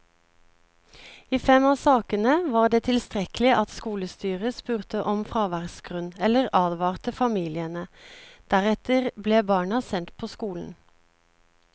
I fem av sakene var det tilstrekkelig at skolestyret spurte om fraværsgrunn eller advarte familiene, deretter ble barna sendt på skolen.